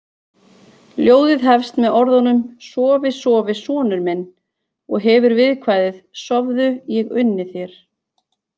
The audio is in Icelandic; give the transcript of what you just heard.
Ljóðið hefst með orðunum Sofi, sofi sonur minn og hefur viðkvæðið: Sofðu, ég unni þér